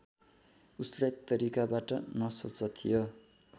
उसलाई तरिकाबाट नसोचा थियो